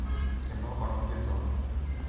кино армагеддон